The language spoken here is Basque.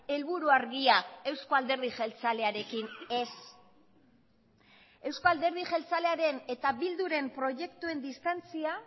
helburu argia euzko alderdi jeltzalearekin ez euzko alderdi jeltzalearen eta bilduren proiektuen distantzia